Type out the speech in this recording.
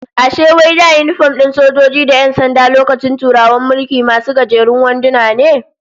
Ashe wai da yinifom din sojoji da 'yan sanda lokacin Turawan mulki, masu gajerun wanduna ne?